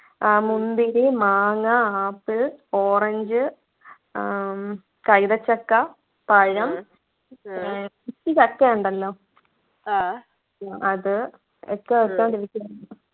ആഹ് മുന്തിരി മാങ്ങ apple orange ആഹ് കൈതച്ചക്ക പഴം ചക്ക ഉണ്ടല്ലോ അത് ഒക്കെ വച്ചോണ്ടിരിക്കുന്ന്